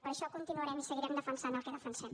per això continuarem i seguirem defensant el que defensem